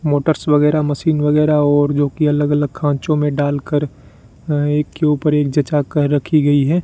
Motors वगैरह machine वगैरह और जो कि अलग अलग खांचों में डाल कर अह एक के ऊपर एक जंचा कर रखी गई है।